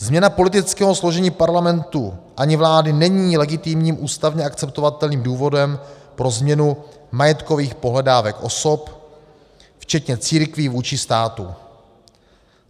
Změna politického složení Parlamentu ani vlády není legitimním ústavně akceptovatelným důvodem pro změnu majetkových pohledávek osob, včetně církví vůči státu.